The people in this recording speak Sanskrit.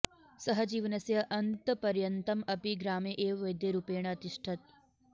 सः जीवनस्य अन्तपर्यन्तम् अपि ग्रामे एव वैद्यरूपेण अतिष्ठत्